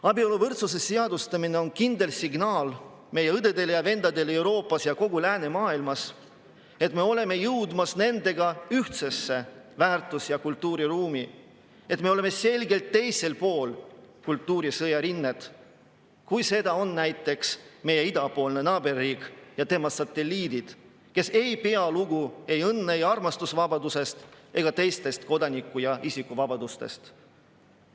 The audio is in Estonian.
Abieluvõrdsuse seadustamine on kindel signaal meie õdedele ja vendadele Euroopas ja kogu läänemaailmas, et me oleme jõudmas nendega ühtsesse väärtus‑ ja kultuuriruumi, et me oleme selgelt teisel pool kultuurisõja rinnet kui näiteks meie idapoolne naaberriik ja tema satelliidid, kes ei pea lugu õnne ja armastuse vabadusest ega teistest kodaniku‑ ja isikuvabadustest.